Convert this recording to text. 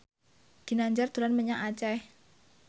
Ginanjar dolan menyang Aceh